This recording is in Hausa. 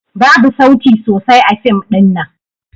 Babu sauti sosai a fim ɗin nan.